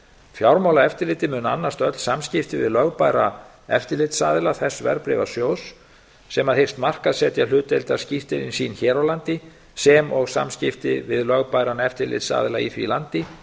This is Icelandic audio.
fjármálaeftirlitið mun annast öll samskipti við lögbæra eftirlitsaðila þess verðbréfasjóðs sem hyggst markaðssetja hlutdeildarskírteini sín hér á landi sem og samskipti við lögbæran eftirlitsaðila í því landi